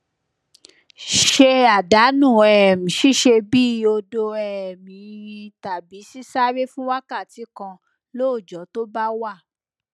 ṣe àdánù um ṣíṣe bíi odo um yinyin tàbí sisáré fún wákàtí kan lóòjó tó bá wà